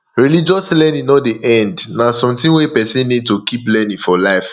religious learning no dey end na something wey person need to keep learning for life